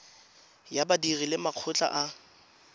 ya badiri le makgotla a